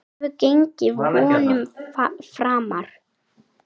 Hún hefur gengið vonum framar.